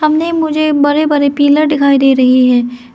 सामने मुझे बड़े बड़े पिलर दिखाई दे रही है।